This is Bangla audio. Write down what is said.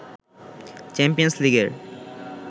চ্যাম্পিয়ন্স লিগের